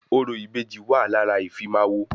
Orò ìbejì wà lára ìfimáwọ̀